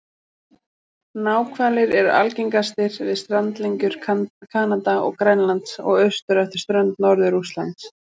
Náhvalir eru algengastir við strandlengjur Kanada og Grænlands og austur eftir strönd Norður-Rússlands.